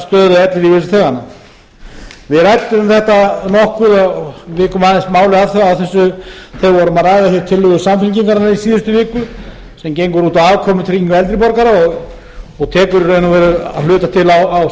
stöðu ellilífeyrisþeganna við vikum aðeins máli að þessu þegar við vorum að ræða þær tillögur samfylkingarinnar í síðustu viku sem gengur út á afkomutryggingu eldri borgara og tekur í raun og veru að hluta til á